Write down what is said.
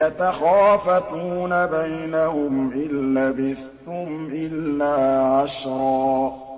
يَتَخَافَتُونَ بَيْنَهُمْ إِن لَّبِثْتُمْ إِلَّا عَشْرًا